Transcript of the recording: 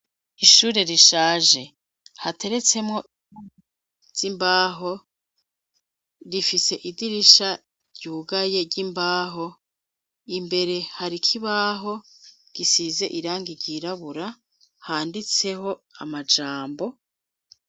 Ishure rishaje hateretsemwo imbaho rifise idirisha ryugaye ry'imbaho imbere hari ikibaho gisize irangi ryirabura handitseho amajambo.